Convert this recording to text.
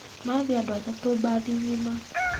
Mathiĩ andũ atatũ mbathi nyima.